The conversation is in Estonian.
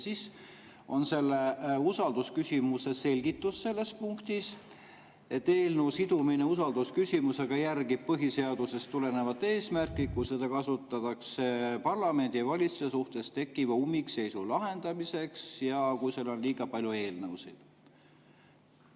Siis on selle usaldusküsimuse selgitus selles punktis, et eelnõu sidumine usaldusküsimusega järgib põhiseadusest tulenevat eesmärki, kui seda kasutatakse parlamendi ja valitsuse suhtes tekkiva ummikseisu lahendamiseks ja kui seal on liiga palju eelnõusid.